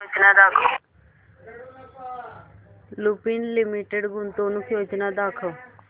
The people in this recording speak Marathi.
लुपिन लिमिटेड गुंतवणूक योजना दाखव